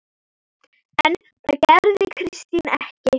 En það gerði Kristín ekki.